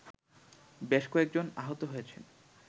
বেশ কয়েকজন আহত হয়েছেন